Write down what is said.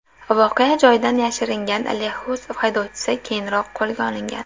Voqea joyidan yashiringan Lexus haydovchisi keyinroq qo‘lga olingan.